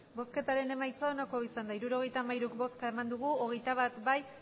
emandako botoak hirurogeita hamairu bai hogeita bat ez